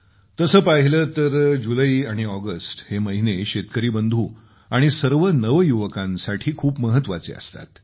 तसं पाहिलं तर जुलै आणि ऑगस्ट हे महिने शेतकरी बंधू आणि सर्व नवयुवकांसाठी खूप महत्वाचे असतात